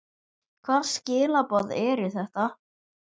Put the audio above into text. Hvaða skilaboð eru þetta?